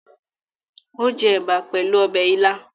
Ó jẹ ẹ̀bà pẹ̀lú ọbẹ̀ ilá?